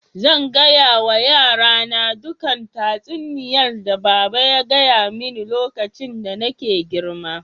Zan gaya wa yara na dukan tatsuniyan da baba ya gaya mani lokacin da nake girma.